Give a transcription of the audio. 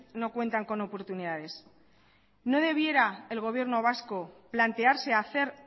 no cuentan con oportunidades no debiera el gobierno vasco plantearse a hacer